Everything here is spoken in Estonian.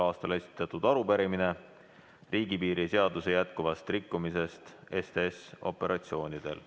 a esitatud arupärimine riigipiiri seaduse jätkuva rikkumise kohta STS‑operatsioonidel.